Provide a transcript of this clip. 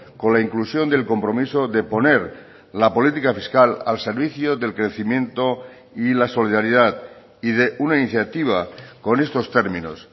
con la inclusión del compromiso de poner la política fiscal al servicio del crecimiento y la solidaridad y de una iniciativa con estos términos